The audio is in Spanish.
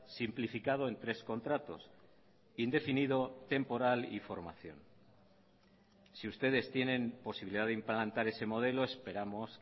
simplificado en tres contratos indefinido temporal y formación si ustedes tienen posibilidad de implantar ese modelo esperamos